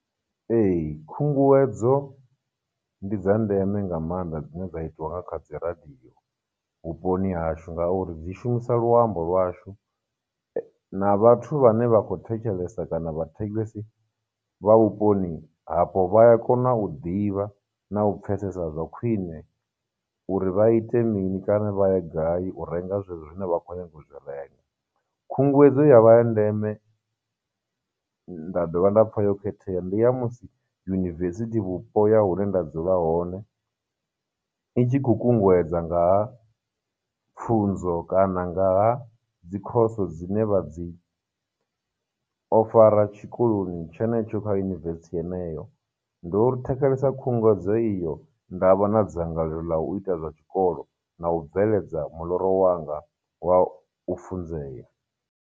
Ee, khunguwedzo ndi dza ndeme nga maanḓa dzine dza itiwa nga kha dzi radio vhuponi hashu, ngauri dzi shumisa luambo lwashu, na vhathu vhane vha khou thetshelesa kana vhathetshelesi vha vhuponi hapo, vha ya kona u ḓivha na u pfhesesa zwa khwine uri vha ite mini, kana vha ya gai u renga zwe zwo zwine vha khou nyanga u zwi renga. Khunguwedzo ya vha ya ndeme, nda dovha nda pfha yo khethea ndi ya musi university vhupo ya hune nda dzula hone i tshi khou kunguwedza ngaha pfunzo kana nga ha dzi course dzine vha dzi ofara tshikoloni tshenetsho kha university heneyo. Ndo thetshelesa khunguwedzo iyo, nda vha na dzangalelo ḽa u ita zwa tshikolo, na u bveledza muḽoro wanga wa u funzea.